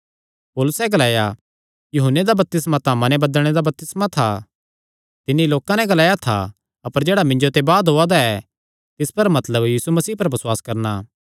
पौलुसैं ग्लाया यूहन्ने दा बपतिस्मा तां मन बदलणे दा बपतिस्मा था तिन्नी लोकां नैं ग्लाया था अपर जेह्ड़ा मिन्जो ते बाद ओआ दा ऐ तिस पर मतलब यीशु पर बसुआस करणा